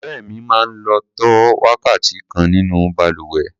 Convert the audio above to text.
Ọ̀rẹ́ mi máa ń lò tó wákàtí kan nínú balùwẹ̀.